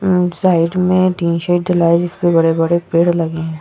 Side में जिसमें बड़े-बड़े पेड़ लगे हैं।